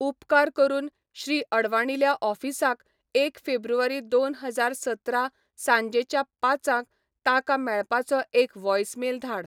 उपकार करून श्री अडवाणील्या ऑफिसाक एक फेब्रुवारी दोन हजार सतरा सांजेच्या पांचांक ताका मेळपाचो एक व्होईसमेल धाड